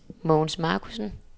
Mogens Marcussen